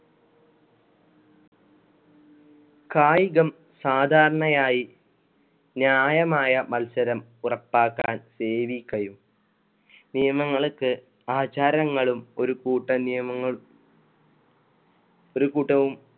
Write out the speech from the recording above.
കായികം സാധാരണയായി ന്യായമായ മത്സരം ഉറപ്പാക്കാൻ സേവി കയും നിയമങ്ങളൊക്കെ ആചാരങ്ങയും ഒരു കൂട്ടം നിയമങ്ങള്‍ ഒരു കൂട്ടവും